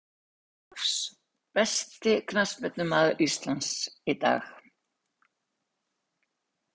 Andra ólafs Besti knattspyrnumaður Íslands í dag?